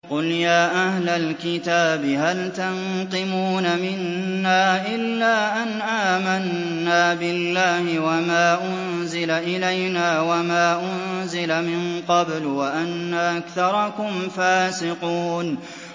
قُلْ يَا أَهْلَ الْكِتَابِ هَلْ تَنقِمُونَ مِنَّا إِلَّا أَنْ آمَنَّا بِاللَّهِ وَمَا أُنزِلَ إِلَيْنَا وَمَا أُنزِلَ مِن قَبْلُ وَأَنَّ أَكْثَرَكُمْ فَاسِقُونَ